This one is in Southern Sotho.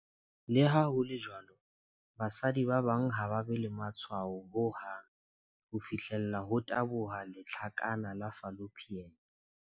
Leha ho le jwalo, basadi ba bang ha ba be le matshwao ho hang ho fihlela ho taboha lehlakana la fallopian.